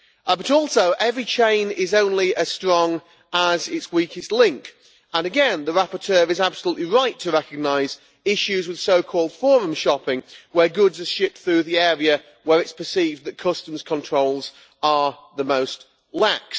But also, every chain is only as strong as its weakest link and again the rapporteur is absolutely right to recognise issues with so-called forum shopping, where goods are shipped through the area where it is perceived that customs controls are the most lax.